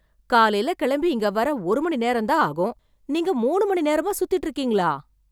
காலைல கிளம்பி இங்க வர ஒரு மணி நேரம் தான் ஆகும், நீங்க மூணு மணி நேரமா சுத்திட்டு இருக்கீங்களா?